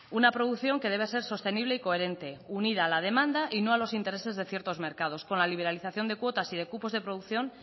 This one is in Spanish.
una producción que debe ser sostenible y coherente unida a la demanda y no a los intereses de ciertos mercados con la liberalización de cuotas y de cupos de producción